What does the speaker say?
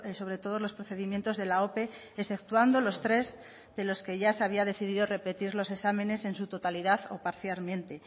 sobre todos los procedimientos de la ope exceptuando los tres de los que ya se había decidido repetir los exámenes en su totalidad o parcialmente